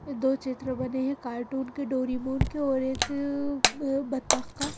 दो चित्र बने हैं कार्टून के डोरीमोन के और एक बत्तख का--